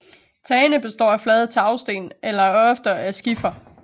Tagene består af flade tagsten eller oftere af skifer